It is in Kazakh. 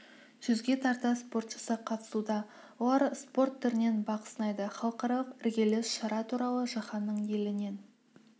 жүзге тарта спортшысы қатысуда олар спорт түрінен бақ сынайды халықаралық іргелі шара туралы жаһанның елінен